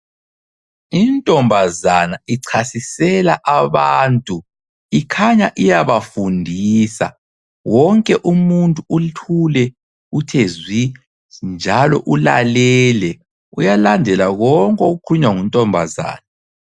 Intombazana ichasisela abantu, ikhanya iyabafundisa. Wonke umuntu uthule uthe zwi njalo ulalele uyalandela konke okukhulunywa nguntombazana.